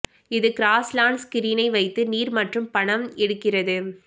இது grass lawns கிரீனை வைத்து நீர் மற்றும் பணம் எடுக்கிறது